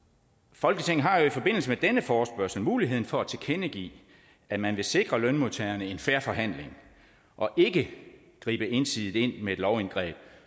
folketinget har jo i forbindelse med denne forespørgsel muligheden for at tilkendegive at man vil sikre lønmodtagerne en fair forhandling og ikke gribe ensidigt ind med et lovindgreb